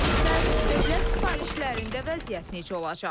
Bəs dövlət sifarişlərində vəziyyət necə olacaq?